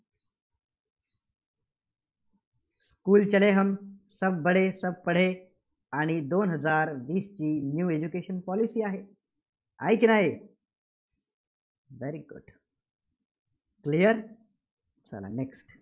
आणि दोन हजार वीसची new education policy आहे की नाही? very good clear चला next